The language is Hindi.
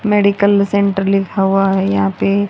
मेडिकल सेंटर लिखा हुआ है यहां पे--